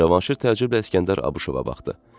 Cavanşir təəccüblə İskəndər Abuşova baxdı.